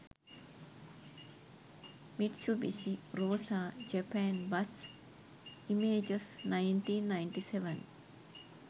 mitsubishi rosa japan bus images 1997